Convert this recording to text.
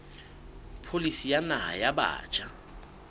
pholisi ya naha ya batjha